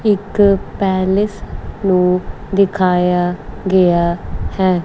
ਇੱਕ ਪੈਲਸ ਨੂੰ ਦਿਖਾਇਆ ਗਿਆ ਹੈ।